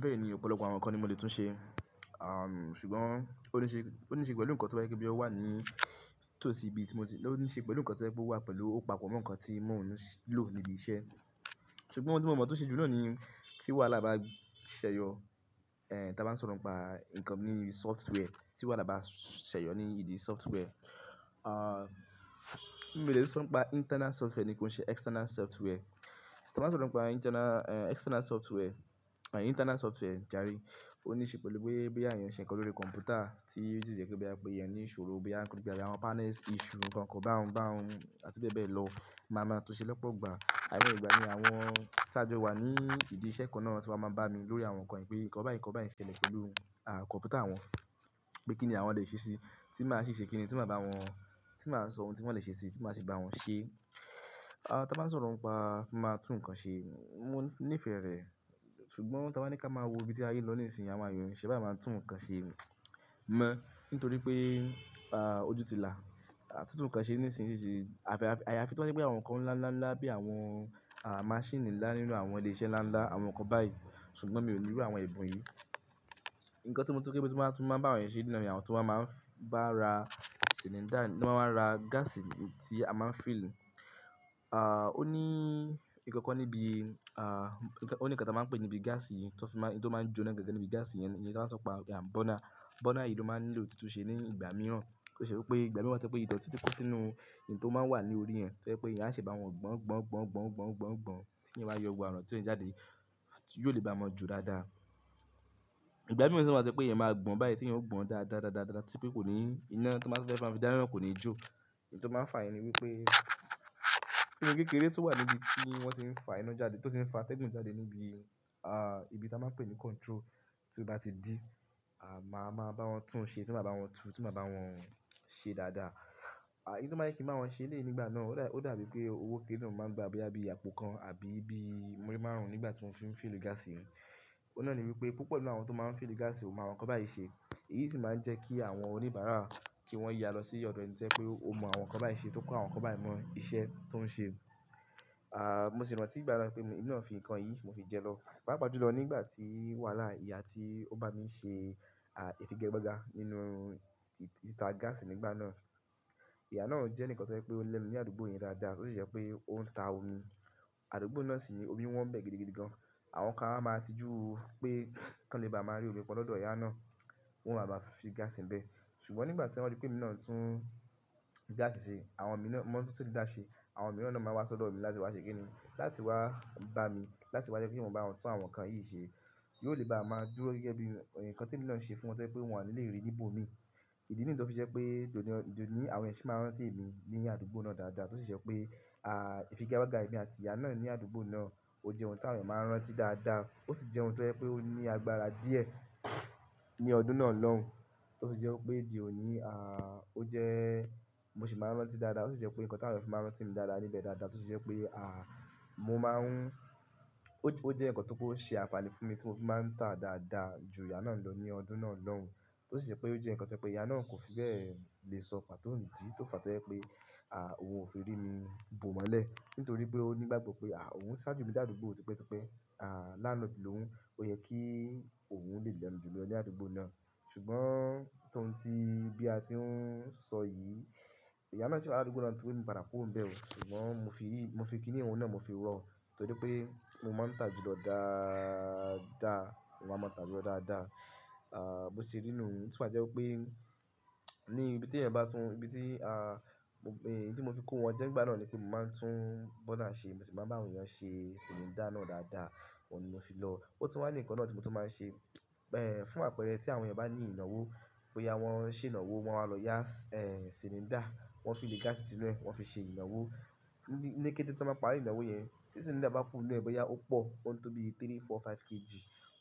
Bẹ́ẹ̀ ni ọ̀pọ̀lọpọ̀ àwọn nǹkan ni mo lè tún ṣe. Ṣùgbọ́n ó níṣe, ó níṣe pẹ̀lú nǹkan tó ba jẹ́ wipé boya ó wà ní itòsí bí tí mo ti-- ó níṣe pẹ̀lú nǹkan tó jẹ́ pé ó wà pẹ̀lú òpapọ̀ mo nǹkan tí mò ń lò níbi iṣẹ́. Ṣùgbọ́n ohun tí mo mọ̀ tun ṣe jù náà ní tí wàhálà bá ṣẹyọ, tí a bá ń sọ̀rọ̀ ń pa nǹkan bí software, tí wàhálà bá ṣẹyọ ní ìbí software. Mi ò lè sọ pé internal software ni kí ó ṣe external software. Tí a bá sọ̀rọ̀ ń pa internal, eh, external software, internal software jàre, ó níṣe pẹ̀lú pé boya eeyàn ń ṣe ǹkan lórí kọ̀m̀pútà tí ósi jẹ́ pe boya pe ení ìṣòro boya ara wọn panels, issue, nǹkan kan bá hun, bá hun àti bẹ́ẹ̀ bẹ́ẹ̀ lọ. Màá máa tún ṣe lọ́pọ̀ ìgbà. Ài moye ìgbà ní àwọn tí a jọ wà ní ìdí iṣẹ́ kan náà tí wọ́n máa ń bá mi lórí àwọn nǹkan yẹn pé nǹkan báyìí, nǹkan báyìí ń ṣẹlẹ̀ pẹ̀lú, ah, kọ̀m̀pútà wọn pé kí ni àwọn lè ṣe sí i tí màá ṣe ṣe kíni, tí màá bá wọn, tí màá sọ ohun tí wọ́n lè ṣe sí i tí màá sì bá wọn ṣe. Ah, tan baa ń sọ̀rọ̀ ń pa máa tún nǹkan ṣe, mò nífẹ̀ẹ́ rẹ̀. Ṣùgbọ́n tía abá ní ká máa wo ibi tí aye n lọ ní ìsìn àwọn èèyàn o ni ṣe bá máa tún nǹkan ṣe mọ́ nítorí pé, ah, ojú ti là. A ti tún nǹkan ṣe ní ìsìn ṣíṣe. Àfi, àyàfi tó ba jé àwọn nǹkan ńlá ńlá ńlá bí àwọn, ah, maṣíìnì nlá nínú àwọn ilé iṣẹ́ nlá nlá, àwọn nǹkan báyìí. Ṣùgbọ́n mi ò nílò àwọn ẹ̀bùn yìí. Nǹkan tí mo tun máa tún máa ń bá àwọn èèyàn ṣe nínú ní àwọn tó máa ń bá ra silindá, tó máa ń ra gáàsì tí a máa ń fílì. Ah, ó ní nǹkan kan níbi, ah, ó ní nǹkan tí wọ́n máa ń pè níbi gáàsì yìí to fi máa-- tí ó máa ń jóná gangan níbi gáàsì yẹn ni kí a máa so pa, ah, burner. Burner yìí ló máa ń lilò títú ṣe ní ìgbà mìíràn. Ó ṣe wípé ìgbà mìíràn to je pé ìdọ̀tí tí kó sínú èyí tó máa ń wà ní orí rẹ̀ to jẹ̀ pé eeyan a se bá wọn gbọn, gbọn, gbọn, gbọn, gbọn, gbọn, gbọn títi yóò máa yọ gbogbi àwọn dọ̀tí ó ń jáde, yiò lè bá mọn jọ dáadáa. Ìgbà mìíràn sì máa to je pé e máa gbọn báyìí tí ẹn ó gbọn dáadáadáadá dá tí pé kò ní iná tó máa tẹ́fe maa fi dá ná kò ni jó. Nǹkan tó máa ń fà yen ni wípé inú kékeré tó wà níbi tí wọ́n ti ń fà ina jáde tó sì ń fà tẹ́gùn jáde níbi, ah, ibi tí a máa ń pè ní control. Tí ó bá ti di, ah, màá máa bá wọn tún un ṣe, tí màá bá wọn tú, tí màá bá wọn ṣe dáadáa. Ah, ìdí tí o ma n jẹ kí wọ́n máa ṣe lé nígbà náà ó dàbí pé owó kéré náà máa ń gba bí i àpò kan àbí bí i múrí márùn-ún nígbà tí wọ́n fi ń fílì gáàsì yẹn. Òó náà ni wípé púpọ̀ nínú àwọn tó máa ń fílì gáàsì ò mọ àwọn nǹkan báyìí ṣe. Èyí sì máa ń jẹ́ kí àwọn oníbàárà kí wọ́n yá lọ sí ọ̀dọ̀ ẹni tí o je pé o mọ àwọn nǹkan báyìí ṣe tó kọ́ àwọn nǹkan báyìí mọ iṣẹ́ tó ń ṣe. Ah, mo sì rántí ìgbà náà pé mi náà fi nǹkan yìí mo fi jẹ lọ paapa ju lọ nígbà tí wàhálà ìyà tí ó bá mi ṣe, ah, ifigagbaga nínú tìta gáàsì nígbà náà. Ìyà náà ò jẹ́ nǹkan tó jẹ́ pé ó lẹ́mi ní àdúgbò yen dáadáa tó sì jẹ́ pé ó ń ta omi. Àdúgbò náà sì ni omi wọn bẹ́ gidi gidigan. Àwọn kan a máa tí júu pé kí wọ́n lè bá máa rí omi pọn lọ́dọ̀ ìyà náà, wọn máa bá fi gáàsì ń bẹ́. Ṣùgbọ́n nígbà tí wọ́n rí pé mi náà tún gáàsì ṣe, àwọn mìíràn mọ̀ be moma n tu cylinder ṣe, àwọn mìíràn náà máa wá sọ́dọ̀ mi láti wá ṣe kíni, láti wá bá mi, láti wá jẹ kí n ba àwọn tún àwọn nǹkan yìí ṣe. Yóò lè bá a máa dúró gẹ́gẹ́ bí nǹkan tí èmi náà ń ṣe fún wọn to je pé wọn ní lè rí níbò mi. Ìdí nìyii tó fi je pé dònì, dònì àwọn èèyàn sì máa wa sí emi ní àdúgbò náà dáadáa tó sì jẹ́ pé, ah, ifigagbaga emi àti ìyà náà ní àdúgbò náà ó jẹ́ ohun tí àwọn èèyàn máa ń rán tí dáadáa. Ó sì jẹ́ ohun tó jẹ́ pé ó ní agbára díẹ̀ ní ọdún náà lóun. Ó sì jẹ́ wípé dí òní, ah, ó jẹ́ mo sì máa ń rán tí dáadáa. Ó sì jẹ́ pé nǹkan tí àwọn èèyàn fi máa ń rán tí mi dáadáa níbẹ̀ dáadáa tó sì jẹ́ pé, ah, mo máa ń-- ó jẹ́ nǹkan tó je ṣe àfààní fún mi tí mo fi máa ń tà dáadáa ju ìyà náà lọ ní ọdún náà lóun. Tó sì jẹ́ pé ó jẹ́ nǹkan tí ẹ pé ìyà náà kò fi bẹ́ẹ̀ lè sọ pàtó idi, tó fà tó jẹ́ pé, ah, òun ò fi rí mi bò mọ́lẹ̀ nítorí pé ó nígbàgbọ́ pé, ah, òun ń sá ju mi ní àdúgbò tipẹ́tipẹ́, ah, landlord lòun. Ó yẹ kí òun lè lẹ́nu ju mi lọ ní àdúgbò náà. Ṣùgbọ́n tóun ti bí a ti ń sọ yìí, ìyà náà sì wà ní àdúgbò náà koto di pe mo padà kuró n bẹ́ẹ̀ ò. Ṣùgbọ́n mo fi, mo fi kíni un náà mo fi rọ nítorí pé mo máa ń tà ju lọ dáadáa. Mo máa ń tà ju lọ dáadáa. Ah, bó ti rí nú, tí o bá jẹ́ wípé ní ibi tí ẹ̀eyan bá tún, ibi tí, ah, mo, èyí tí mo fi kó wọn jẹ́ nígbà náà ni pé mo máa ń tún burner ṣe, mo sì máa ń bá àwọn èèyàn ṣe silindá náà dáadáa. Ó ni mo fi lọ. Ó tún wá ní nǹkan náà tí mo tún máa ń ṣe, eh, fún àpẹẹrẹ tí àwọn ẹ̀eyan bá ní ìnáwó, bóyá wọ́n ń ṣe ìnáwó wọ́n máa lọ yá, eh, silindá, wọ́n fiili gáàsì sínú rẹ̀, wọ́n fi ṣe ìnáwó. Ni kéte tan bá parí ìnáwó yẹn, tí silindá bá kú nínú ẹ̀ bóyá ó pò, ó ń tóbi three, four, five kg.